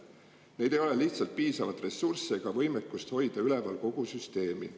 Neil ei ole lihtsalt piisavalt ressursse ega võimekust hoida üleval kogu süsteemi.